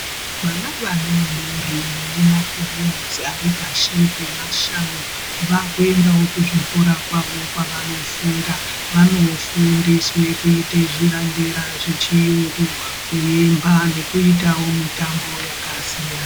Vana vadodori vane makore ari pashi pema mashanu vakuendawo kuzvikora kwavo kwavanofunda. Vanofundiswe kuite zvirandera zvechiyungu kuemba nekuitawo mitambo yakasiyana.